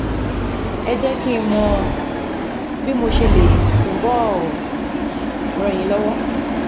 Ẹ jẹ́ kí n mọ bí mo ṣe lè túbọ̀ ràn yín lọ́wọ́